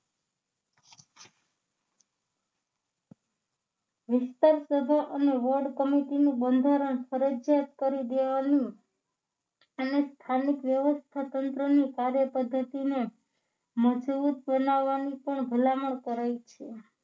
વિસ્તાર સભા અને વોર્ડ સમિતિ નું બંધારણ ફરજિયાત કરી દેવાનું અને સ્થાનિક વ્યવસ્થાતંત્રની કાર્યપદ્ધતિને મજબૂત બનાવાની પણ ભલામણ કરાઈ છે સભા